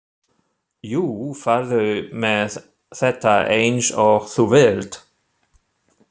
Jú, farðu með þetta eins og þú vilt.